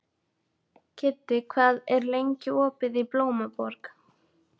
Kiddi, hvað er lengi opið í Blómaborg?